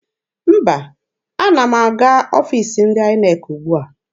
Mba, ana m aga n'ọfiisi ndị INEC ugbua.